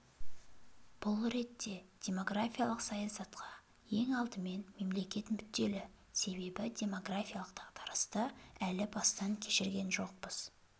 бұл ретте демографиялық саясатқа ең алдымен мемлекет мүдделі себебі демографиялық дағдарысты әлі бастан кешкен жоқпыз